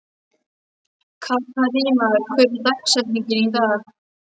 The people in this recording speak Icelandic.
Katharina, hver er dagsetningin í dag?